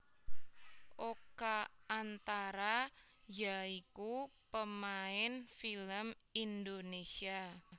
Oka antara ya iku pemain film Indonésia